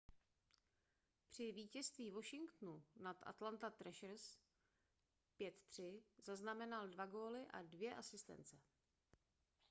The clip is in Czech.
při vítězství washingtonu nad atlanta trashers 5-3 zaznamenal 2 góly a 2 asistence